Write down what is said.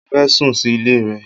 Mo fẹ́ sùn sí ilé rẹ.